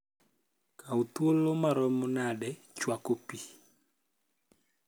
kaw thuolo maromo nade chwako pi